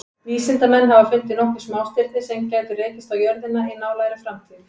Vísindamenn hafa fundið nokkur smástirni sem gætu rekist á jörðina í nálægri framtíð.